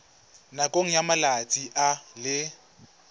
nakong ya malatsi a le